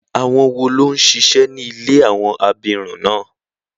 Àwọn wo ló ń ṣíṣe ní ilé àwọn abirùn náà?